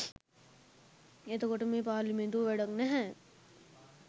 එතකොට මේ පාර්ලිමේන්තුව වැඩක් නැහැ